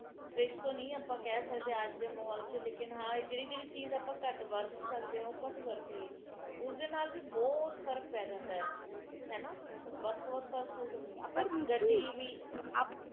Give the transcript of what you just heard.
ਤੇ ਪੇੜ ਕੱਟਣ ਨਾਲ ਇਹ ਸਾਰਾ ਪ੍ਰਦੂਸ਼ਣ ਵੱਧ ਰਿਹਾ ਹੈ ਬੜਾ ਬੁਰਾ ਹਾਲ ਹੈ ਧਰਤੀ ਦਾ ਜਿਹੜੇ ਸਾਬ ਨਾਲ ਚਲ ਰਹੇ ਹੈ ਆਉਣ ਵਾਲੀ ਹਰਿਆਲੀ